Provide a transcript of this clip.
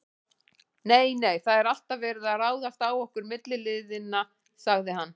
Nei, nei, það er alltaf verið að ráðast á okkur milliliðina sagði